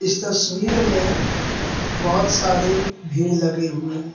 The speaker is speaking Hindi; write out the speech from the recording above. तस्वीर में बहुत सारे भीड़ लगे हुए हैं।